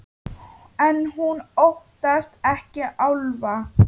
En hún óttast ekki álfa.